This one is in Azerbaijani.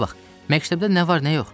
Bura bax, məktəbdə nə var nə yox?